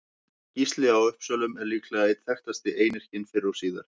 Gísli í Uppsölum er líklega einn þekktasti einyrkinn fyrr og síðar.